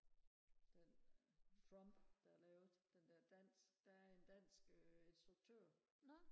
den trump der er lavet den der dansk der er en dansk øh instruktør